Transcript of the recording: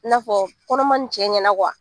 I n'a fɔ kɔnɔma in cɛ ɲɛna